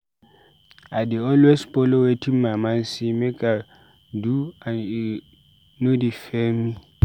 I dey always follow wetin my mind sey make I do and e no dey fail me.